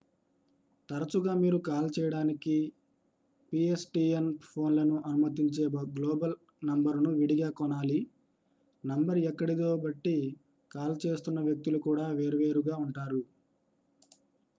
తరచుగా మీరు కాల్ చేయడానికి పిఎస్టిఎన్ ఫోన్లను అనుమతించే గ్లోబల్ నంబరును విడిగా కొనాలి నంబర్ ఎక్కడిదో బట్టి కాల్ చేస్తున్న వ్యక్తులు కూడా వేర్వేరుగా ఉంటారు